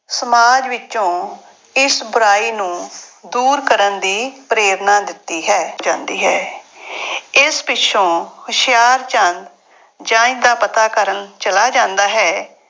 ਸਮਾਜ ਵਿੱਚੋਂ ਇਸ ਬੁਰਾਈ ਨੂੰ ਦੂਰ ਕਰਨ ਦੀ ਪ੍ਰੇਰਨਾ ਦਿੱਤੀ ਹੈ ਜਾਂਦੀ ਹੈ ਇਸ ਪਿੱਛੋਂ ਹੁਸ਼ਿਆਰਚੰਦ ਜੰਞ ਦਾ ਪਤਾ ਕਰਨ ਚਲਾ ਜਾਂਦਾ ਹੈ।